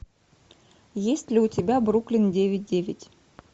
есть ли у тебя бруклин девять девять